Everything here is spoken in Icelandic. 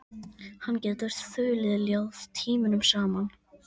Hann getur þulið ljóð tímunum saman.